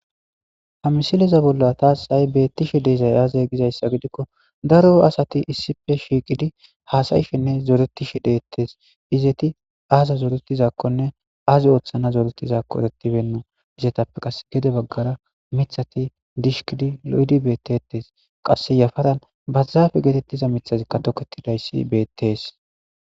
Ha misileza bolla tas ha'i betishe dizay aze gizaysa gidikon dark asati issippe shiqid hasa'ishenne zoretishe dites. Izet azi othana zoretizako eretibeyna. Izzetappe qase gede bagara mithat dishkid lo'id betetes, qase yafaran barzafe getetiza mithazika toketidays betes.